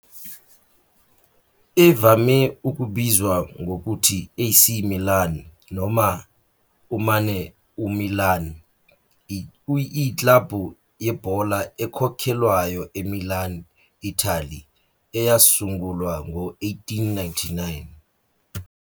Evame ukubizwa ngokuthi AC Milan noma umane uMilan, iyiklabhu yebhola ekhokhelwayo eMilan, Italy, eyasungulwa ngo-1899.